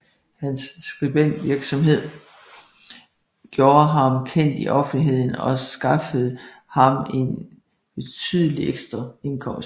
Hans skribentvirksomhed gjorde ham kendt i offentligheden og skaffede ham en betydelig ekstraindkomst